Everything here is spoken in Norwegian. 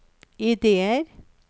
ideer